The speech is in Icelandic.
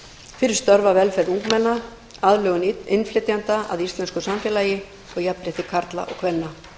fyrir störf að velferð ungmenna aðlögun innflytjenda að íslensku samfélagi og jafnrétti karla og kvenna